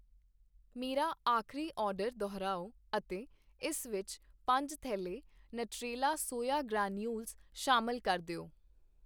ਮੇਰਾ ਆਖਰੀ ਆਰਡਰ ਦੁਹਰਾਓ ਅਤੇ ਇਸ ਵਿੱਚ ਪੰਜ ਥੈਲੈ ਨਟਰੇਲਾ ਸੋਇਆ ਗ੍ਰੈਨਿਊਲਜ਼ ਸ਼ਾਮਿਲ ਕਰ ਦਿਓ